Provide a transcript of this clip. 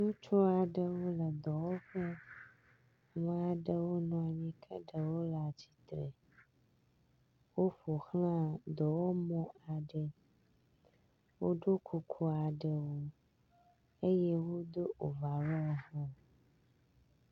Ŋutsu aɖewo le dɔwɔƒe, ame aɖewo nɔ anyi ke ɖewo le atsitre, woƒo xlã dɔwɔmɔ aɖe, woɖo kuku aɖewo eye wodo ovarɔ hã.